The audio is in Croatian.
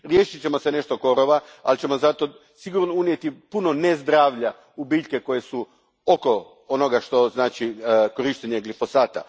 Riješit ćemo se nešto korova, ali ćemo zato sigurno unijeti puno ne zdravlja u biljke koje su oko onoga što znači korištenje glifosata.